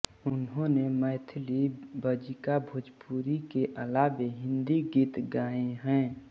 इन्होंने मैथिली बज्जिका भोजपुरी के अलावे हिन्दी गीत गाये हैं